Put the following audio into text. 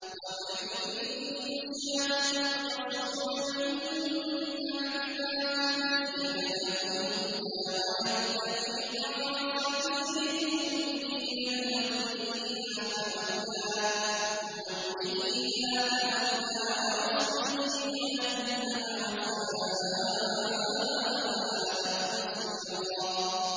وَمَن يُشَاقِقِ الرَّسُولَ مِن بَعْدِ مَا تَبَيَّنَ لَهُ الْهُدَىٰ وَيَتَّبِعْ غَيْرَ سَبِيلِ الْمُؤْمِنِينَ نُوَلِّهِ مَا تَوَلَّىٰ وَنُصْلِهِ جَهَنَّمَ ۖ وَسَاءَتْ مَصِيرًا